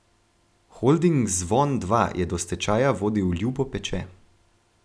Holding Zvon dva je do stečaja vodil Ljubo Peče.